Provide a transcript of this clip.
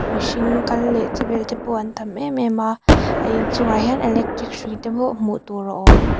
mihring kal leh che vel te pawh an tam em em a a inchungah hian electric hrui te pawh hmuh tur a awm.